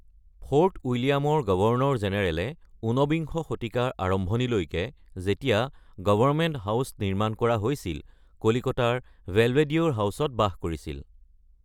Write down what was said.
Fort উইলিয়ামৰ governor জেনেৰেলে ঊনবিংশ শতিকাৰ আৰম্ভণিলৈকে, যেতিয়া 'গৱৰ্ণমেন্ট হাউচ' নিৰ্মাণ কৰা হৈছিল, কলিকতাৰ বেলভেডিয়েৰ হাউচত বাস কৰিছিল ।